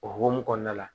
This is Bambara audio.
O hokumu kɔnɔna la